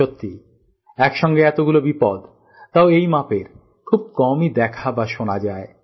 সত্যি একসঙ্গে এতগুলো বিপদ তাও এইমাপের খুব কমই দেখা বা শোনা যায়